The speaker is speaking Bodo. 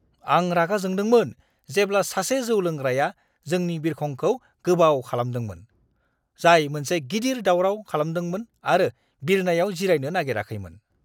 आं रागा जोंदोंमोन जेब्ला सासे जौ लोंग्राया जोंनि बिरखंखौ गोबाव खालामदोंमोन, जाय मोनसे गिदिर दावराव खालामदोंमोन आरो बिरनायाव जिरायनो नागेराखैमोन!